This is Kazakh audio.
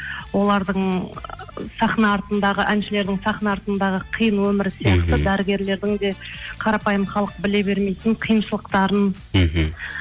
олардың сахна артындағы әншілердің сахна артындағы қиын өмірі сияқты дәрігерлердің де қарапайым халық біле бермейтін қиыншылықтарын мхм